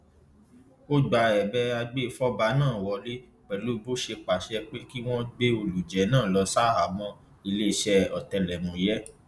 ó gba ẹbẹ agbèfọba náà wọlẹ pẹlú bó ṣe pàṣẹ pé kí wọn gbé olùjẹ náà lọ ṣaháàmọ iléeṣẹ ọtẹlẹmúyẹ